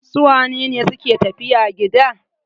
Su wane ne suke tafiya gida?